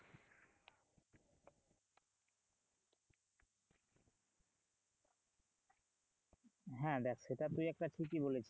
হ্যাঁ দেখ সেটা তুই একটা ঠিকিই বলেছিস।